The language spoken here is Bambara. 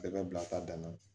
Bɛɛ bɛ bila ta danna